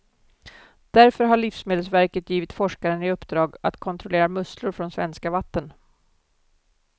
Därför har livsmedelsverket givit forskaren i uppdrag att kontrollera musslor från svenska vatten.